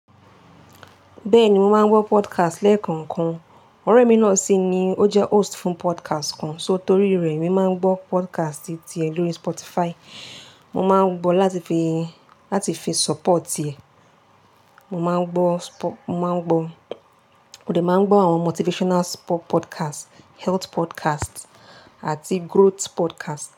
Bẹ́ẹ̀ni, mo máa ń gbọ́ podcast lẹ́ẹ̀kọ̀kan. Ọ̀rẹ́ mi náà sì ni ó jẹ́ host fún podcast kan, só tó rí rẹ̀ mi máa ń gbọ́ podcast ti è lórí Spotify. Mo máa ń gbọ́ láti fi, láti fi support e. Mo máa ń gbọ́, mo máa ń gbọ́, ó lè máa ń gbọ́ àwọn motivational spo-- podcast, health podcast àti growth podcast.